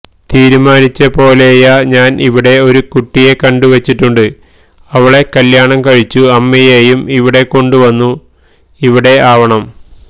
തിരുമാനിച്ചപോലെയാ ഞാൻ ഇവിടെ ഒരു കുട്ടിയെ കണ്ടുവച്ചിട്ടുണ്ട് അവളെ കല്ല്യാണം കഴിച്ചു അമ്മയെയും ഇവിടെ കൊണ്ടുവന്നു ഇവിടെ ആവണം